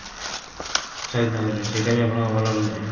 ସହିଦ ନଗରରେ ସେଇଟା ବି ଆପଣଙ୍କର ଭଲ ରହୁଛି